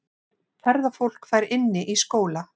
Ferðafólk fær inni í skóla